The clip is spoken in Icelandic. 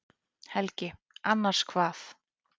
Helgi: Annars hvað?